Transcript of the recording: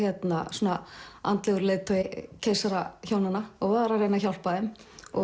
svona andlegur leiðtogi keisarahjónanna og var að reyna að hjálpa þeim